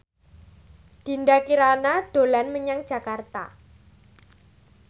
Dinda Kirana dolan menyang Jakarta